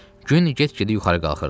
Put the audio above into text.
Gün get-gedə yuxarı qalxırdı.